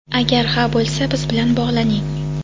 Agar ha bo‘lsa, biz bilan bog‘laning!.